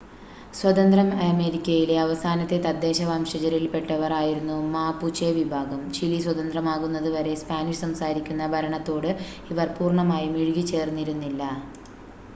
സ്വതന്ത്ര അമേരിക്കയിലെ അവസാനത്തെ തദ്ദേശ വംശജരിൽപ്പെട്ടവർ ആയിരുന്നു മാപുചെ വിഭാഗം, ചിലി സ്വതന്ത്രമാകുന്നത് വരെ സ്പാനിഷ് സംസാരിക്കുന്ന ഭരണത്തോട് ഇവർ പൂർണ്ണമായും ഇഴുകിച്ചേർന്നിരുന്നില്ല